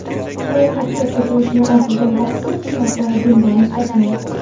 Ro‘yxatga qo‘shilishi aytilgan taksi xizmati bundan mustasno.